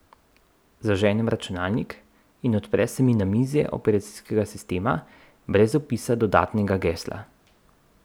Zaženem računalnik in odpre se mi namizje operacijskega sistema brez vpisa dodatnega gesla.